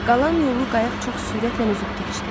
Qalan yolu qayıq çox sürətlə üzüb keçdi.